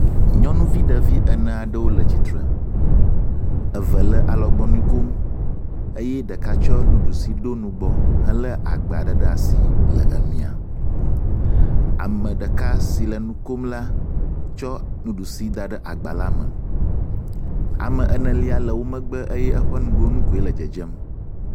Nyɔnuvi ɖevi ene aɖewo le tsi tre. Eve le alɔgbɔnu kom eye ɖeka tsɔ nuɖusi ɖo nugbɔ helé agba ɖe ɖe asi le emia. Ame ɖeka si le nu kom la tsɔ nuɖusi da ɖe agba la me. Ame enelia le wo megbe eye eƒe nugonu koe le dzedzem